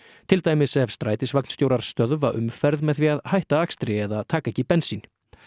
til dæmis ef stöðva umferð með því að hætta akstri eða taka ekki bensín